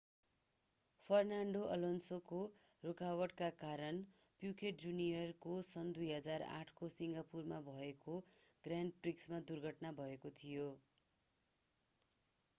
Fernando अलोन्सोको रोकावटका कारण प्युकेट जूनियरको सन् 2008 को सिङ्गापुरमा भएको ग्रान्ड प्रिक्समा दुर्घटना भएको थियो